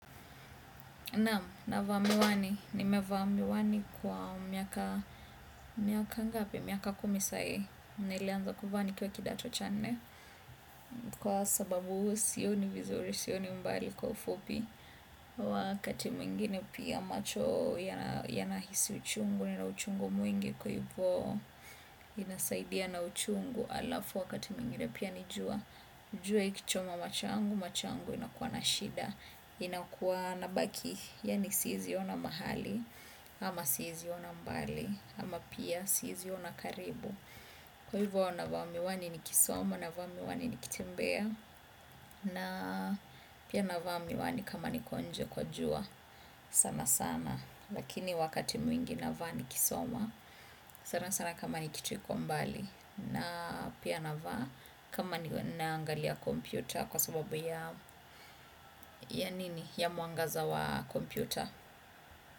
Naam, navaa miwani. Nimevaa miwani kwa miaka ngapi? Miaka kumi sahii, nilianza kuvaa nikiwa kidato cha nne kwa sababu sioni vizuri, sioni mbali kwa ufupi, wakati mwingine pia macho nahisi uchungu, yana uchungu mwingi kwa hivyo, inasaidia na uchungu, halafu wakati mwingine pia ni jua, jua likichoma macho yangu, macho yangu yanakuwa na shida, inakuwa na baki, yani siwezi kuona mahali, ama siwezi kuona mbali, ama pia siwezi kuona karibu. Kwa hivyo, navaa miwani nikisoma, navaa miwani nikitimbea, na pia navaa miwani kama niko nje kwa jua, sana sana. Lakini wakati mwingi navaa nikisoma, sana sana kama kitu kiko mbali, na pia navaa kama ninaangalia kompyuta kwa sababu yani, ya mwangaza wa kompyuta.